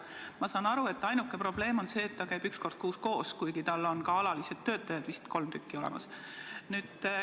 Ma saan aru, et ainuke probleem on see, et ta käib üks kord kuus koos, kuigi tal on ka alalised töötajad, vist kolm tükki, olemas.